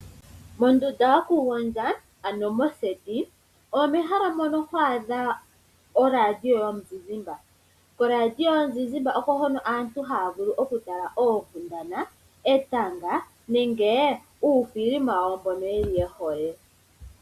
Mondunda yoku gondja ano moseti, omehala mono ho adha olandiyo yomuzizimba, olandiyo yomuzizimba oko hono aantu haya vulu oku tala oonkundana, etanga nenge uuthilima wa wo mbono yeli yehole.